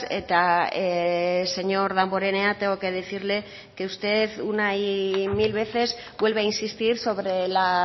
eta señor damborenea tengo que decirle que usted una y mil veces vuelve a insistir sobre la